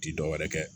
Ti dɔwɛrɛ ye